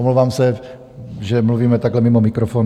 Omlouvám se, že mluvíme takhle mimo mikrofon.